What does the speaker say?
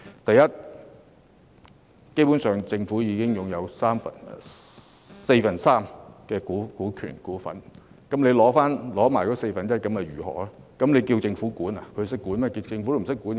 第一，政府已經擁有港鐵公司四分之三股份，即使回購餘下的四分之一股份，難道要政府管理港鐵公司嗎？